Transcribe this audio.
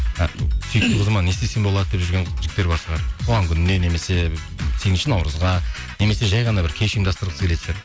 сүйікті қызыма не істем болады деп жүрген жігіттер бар шығар туған күніне немесе сегізінші наурызға немесе жай ғана бір кеш ұйымдастырғысы келеді шығар